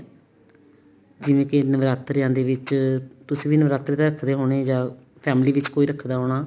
ਜਿਵੇਂ ਕੇ ਨਵਰਾਤਰਿਆਂ ਦੇ ਵਿੱਚ ਤੁਸੀਂ ਵੀ ਨਵਰਾਤਰੇ ਤਾਂ ਰੱਖਦੇ ਹੋਣੇ ਜਾਂ family ਚ ਕੋਈ ਰੱਖਦਾ ਹੋਣਾ